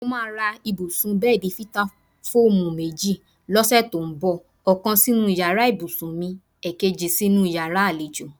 Mo máa ra ibùsùn/bé̩è̩dì Fítáfóòmù méjì ló̩sè̩ tó ń bò̩; ò̩kan sínú yàrá ìbùsùn mi, èkejì sínú yàrá àlejò.